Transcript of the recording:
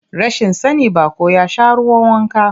Rashin sani, baƙo ya sha ruwan wanka.